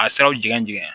A siraw jigin